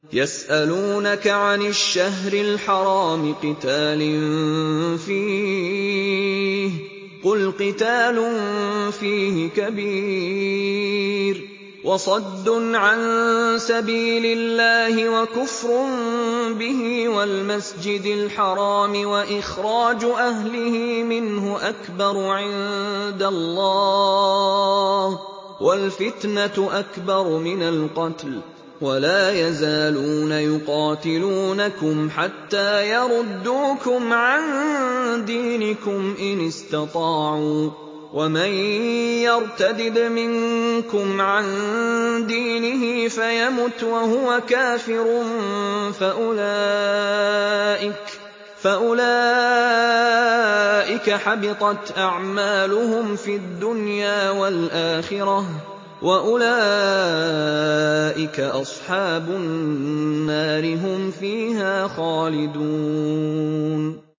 يَسْأَلُونَكَ عَنِ الشَّهْرِ الْحَرَامِ قِتَالٍ فِيهِ ۖ قُلْ قِتَالٌ فِيهِ كَبِيرٌ ۖ وَصَدٌّ عَن سَبِيلِ اللَّهِ وَكُفْرٌ بِهِ وَالْمَسْجِدِ الْحَرَامِ وَإِخْرَاجُ أَهْلِهِ مِنْهُ أَكْبَرُ عِندَ اللَّهِ ۚ وَالْفِتْنَةُ أَكْبَرُ مِنَ الْقَتْلِ ۗ وَلَا يَزَالُونَ يُقَاتِلُونَكُمْ حَتَّىٰ يَرُدُّوكُمْ عَن دِينِكُمْ إِنِ اسْتَطَاعُوا ۚ وَمَن يَرْتَدِدْ مِنكُمْ عَن دِينِهِ فَيَمُتْ وَهُوَ كَافِرٌ فَأُولَٰئِكَ حَبِطَتْ أَعْمَالُهُمْ فِي الدُّنْيَا وَالْآخِرَةِ ۖ وَأُولَٰئِكَ أَصْحَابُ النَّارِ ۖ هُمْ فِيهَا خَالِدُونَ